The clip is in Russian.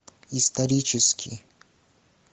исторический